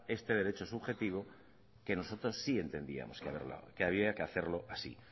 este derecho subjetivo que nosotros sí entendíamos que había que hacerlo así